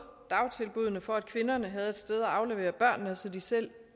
dagtilbuddene for at kvinderne havde et sted at aflevere børnene så de selv